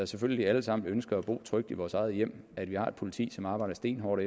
selvfølgelig alle sammen ønsker at bo trygt i vores eget hjem at vi har et politi som arbejder stenhårdt